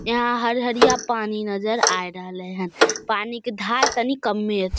यहाँ हरहरिया पानी नजर आए रहले हन पानी के धार तनी कम्मे अच् --